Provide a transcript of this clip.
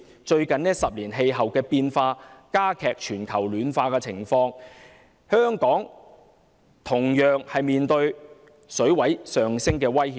最近10年的氣候變化已令全球暖化的情況加劇，香港同樣面對海水水位上升的威脅。